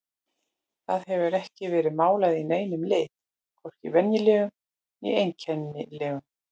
Það hefur ekki verið málað í neinum lit, hvorki venjulegum né einkennilegum.